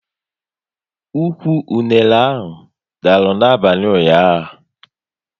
Ụkwụ unere anyị dara n'abalị ụnyaahụ